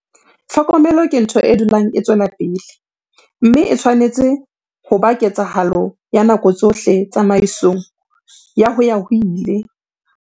Tlhokomelo ke ntho e dulang e tswela pele, mme e tshwanetse ho ba ketsahalo ya nako tsohle tsamaisong ya ho-ya-ho-ile.